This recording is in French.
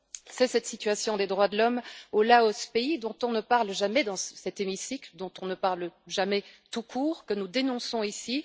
C'est cette situation des droits de l'homme au Laos, pays dont on ne parle jamais dans cet hémicycle, dont on ne parle jamais tout court, que nous dénonçons ici.